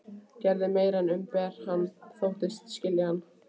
Gerði meira en að umbera hann: þóttist skilja hann.